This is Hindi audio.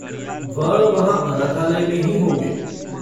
वह वहाँ अनाथालय में ही होंगे।